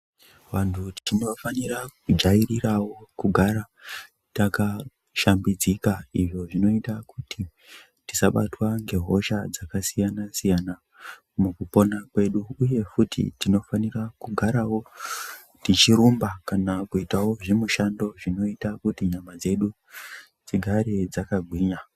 Vantu tinofanira kujairira kugara takashambidzika izvo zvinoita tisabatwa ngehosha dzakasiyana-siyana mukupona kwedu. uye futi tinofanira kugara tichirumba kana kuita mabasa anoita nyama dzedu dzigare dzakasimba.